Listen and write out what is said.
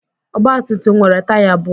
ọgbatumtum nwere taya abụọ